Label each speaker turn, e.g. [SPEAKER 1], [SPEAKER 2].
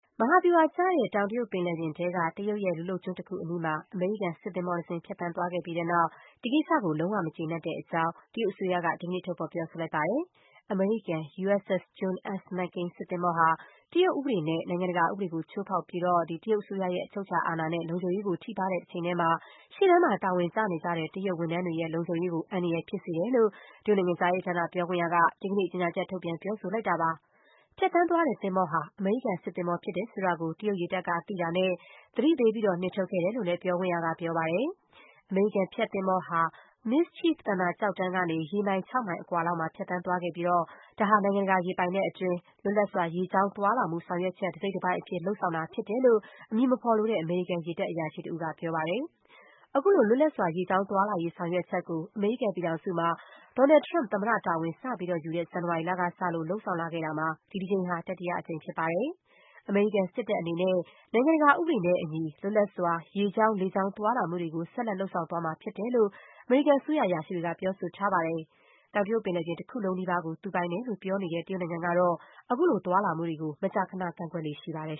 [SPEAKER 1] မဟာဗျူဟာကျတဲ့ တောင်တရုတ်ပင်လယ်ပြင်ထဲက တရုတ်ရဲ့ လူလုပ်ကျွန်းတခုအနီးမှာ အမေရိကန် စစ်သင်္ဘောတစင်း ဖြတ်သန်းသွားခဲ့ပြီး တဲ့နောက် ဒီကိစ္စကို လုံး၀ မကျေနပ်တဲ့အကြောင်းကို တရုတ်အစိုးရက ဒီကနေ့ ထုတ်ဖော်ပြောဆိုလိုက်ပါတယ်။ အမေရိကန် USS John S. McCain စစ်သင်္ဘောဟာ တရုတ်ဥပဒေနဲ့ နိုင်ငံတကာ ဥပဒေကို ချိုးဖောက်တာဖြစ်ပြီး တရုတ်အစိုးရရဲ့ အချုပ်အချာအာဏာနဲ့ လုံခြုံရေးကို ထိပါးတဲ့ တချိန်တည်းမှာ၊ ရှေ့တန်းမှာ တာဝန်ကျနေကြတဲ့ တရုတ်ဝန်ထမ်းတွေရဲ့ လုံခြုံရေးကို အန္တရာယ်ဖြစ်စေတယ်လို့ တရုတ်နိုင်ငံခြားရေး ဌာန ပြောခွင့်ရ က ဒီကနေ့ ကြေညာချက် ထုတ်ပြန် ပြောဆိုလိုက်တာ ဖြစ်ပါတယ်။ ဖြတ်သန်းသွားတဲ့သင်္ဘောဟာ အမေရိကန်စစ်သင်္ဘော ဖြစ်တယ်ဆိုတာကို တရုတ်ရေတပ်က သိတာနဲ့ သတိပေးပြီး နှင်ထုတ်ခဲ့တယ်လို့လည်း ပြောခွင့်ရက ပြောပါတယ်။ အမေရိကန် ဖြတ်သင်္ဘော ဟာ Mischief သန္တာကျောက်တန်းကနေ ရေမိုင် ၆ မိုင်အကွာလောက်မှာ ဖြတ်သန်းသွားခဲ့ပြီး ဒါဟာ နိုင်ငံတကာ ရေပိုင်နက်အတွင်း လွတ်လပ်စွာ ရေကြောင်းသွားလာမှု ဆောင်ရွက်ချက် တစိတ်တပိုင်းအဖြစ် လုပ်ဆောင်တာဖြစ်တယ်လို့ အမည်မဖော်လိုတဲ့ အမေရိကန် ရေတပ် အရာရှိတဦးက ပြောပါတယ်။ အခုလို လွတ်လပ်စွာ ရေကြောင်းသွားလာရေး ဆောင်ရွက်ချက်ကို အမေရိကန်ပြည်ထောင်စု မှာ Donald Trump သမ္မတ တာဝန်စယူတဲ့ ဇန်နဝါရီလကစလို့ လုပ်ဆောင်လာခဲ့တာမှာ ဒီတကြိမ်ဟာ တတိယအကြိမ် ဖြစ်ပါတယ်။ အမေရိကန် စစ်တပ် အနေနဲ့ နိုင်ငံတကာ ဥပဒေနဲ့အညီ လွတ်လပ်စွာ ရေကြောင်း၊ လေကြောင်း သွားလာမှုတွေကို ဆက်လက် လုပ်ဆောင်သွားမှာ ဖြစ်တယ်လို့ အမေရိကန်အစိုးရ အရာရှိတွေက ပြောဆိုထားပါတယ်။ တောင်တရုတ်ပင်လယ်ပြင် တခုလုံးနီးပါးကို သူ ပိုင်တယ်လို့ ပြောနေတဲ့ တရုတ်နိုင်ငံ ကတော့ ခုလို သွားလာမှုတွေကို မကြာခဏ ကန့်ကွက်လေ့ရှိပါတယ်